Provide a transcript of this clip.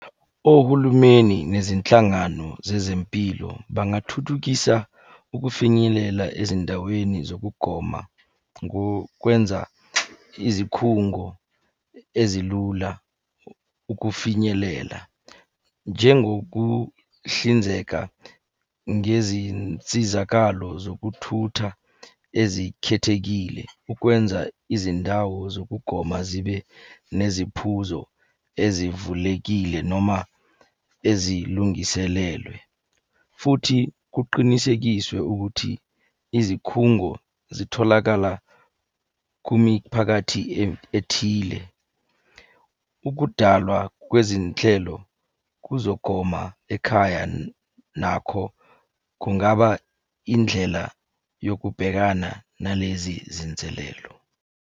Ohulumeni nezinhlangano zezempilo bangathuthukisa ukufinyelela ezindaweni zokugoma ngokwenza izikhungo ezilula ukufinyelela. Njengokuhlinzeka ngezinsizakalo zokuthutha ezikhethekile ukwenza izindawo zokugoma zibe neziphuzo ezivulekile noma ezilungiselelwe, futhi kuqinisekiswe ukuthi izikhungo zitholakala kumiphakathi ethile. Ukudalwa kwezinhlelo kuzogoma ekhaya, nakho kungaba indlela yokubhekana nalezi zinselelo.